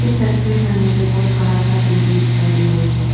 इस तस्वीर में मुझे बहुत बड़ा सा बिल्डिंग दिखाई दे रही है।